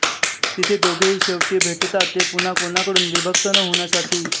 तिथे दोघेही शेवटी भेटतात ते पुन्हा कोणाकडून विभक्त न होण्यासाठी